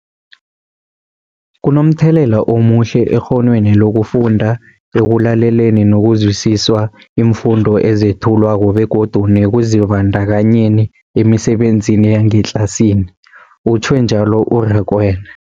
Kunomthelela omuhle ekghonweni lokufunda, ekulaleleni nokuzwisiswa iimfundo ezethulwako begodu nekuzibandakanyeni emisebenzini yangetlasini, utjhwe njalo u-Rakwena.